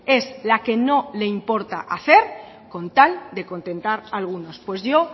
es la que no le importa hacer con tal de contentar a algunos pues yo